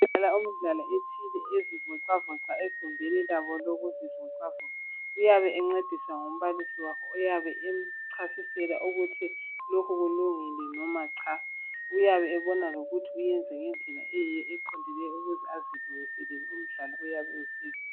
Sibona umdlali othile ezelula umzimba egumbini labo lokwelula imizimba. Uyabe encediswa ngumbalisi wakhe oyabe emchasisela ukuthi lokho kulungile loba hatshi. Uyabe ebona ukuthi wenza ngendlela eqondileyo ukuze elungiselele umdlalo oyabe usiza.